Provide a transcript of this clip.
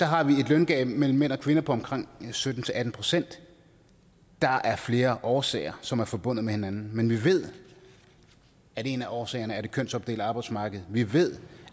har vi et løngab mellem mænd og kvinder på omkring sytten til atten procent der er flere årsager som er forbundet med hinanden men vi ved at en af årsagerne er det kønsopdelte arbejdsmarked vi ved